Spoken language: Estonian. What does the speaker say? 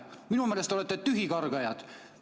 Minu meelest te olete tühikargajad.